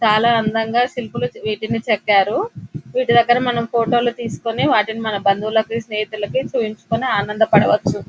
చాలా అందంగా శిల్పులు వీటిని చెక్కారు వీటి దగ్గర మనము ఫోటో లని తీసుకుని వాటిని మన బంధువులకి స్నేహితులకి చూపించుకుని ఆనందపడవచు .